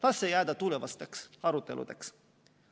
Las see jääda tulevasteks aruteludeks.